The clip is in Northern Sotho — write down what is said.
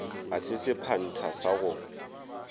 ga se sephantha sa go